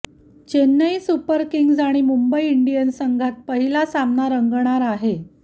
Chennai Super Kings आणि Mumbai Indians संघात पहिला सामना रंगणार आहे